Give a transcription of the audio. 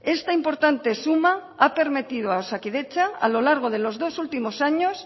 esta importante suma ha permitido a osakidetza a lo largo de los dos últimos años